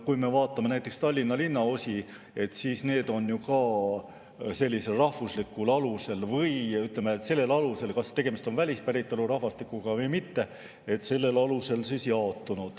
Kui me vaatame näiteks Tallinna linnaosi, siis need on ju ka jaotunud rahvuslikul alusel, või ütleme, sellel alusel, kas tegemist on välispäritolu rahvastikuga või mitte.